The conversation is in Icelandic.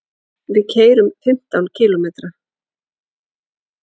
Við keyrum fimmtán kílómetra.